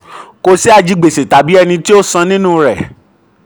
26. kò sí ajigbèsè tàbí ẹni um tó um san nínú rẹ̀.